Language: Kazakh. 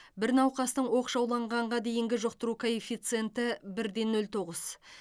бір науқастың оқшауланғанға дейінгі жұқтыру коэффиценті бір де нөл тоғыз